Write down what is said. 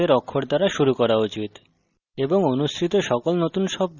এর অর্থ নতুন শব্দ ছোট হাতের অক্ষর দ্বারা শুরু করা উচিত